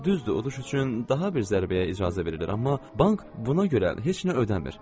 Düzdür, uduş üçün daha bir zərbəyə icazə verilirdi, amma bank buna görə heç nə ödəmir.